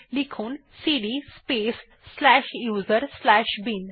লিখুন CD space slash USR slash bin